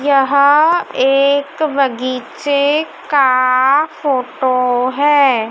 यहां एक बगीचे का फोटो है।